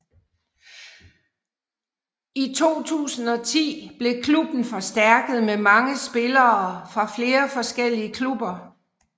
I 2010 blev klubben forstærkert med mange spiller fra flere forskellige klubber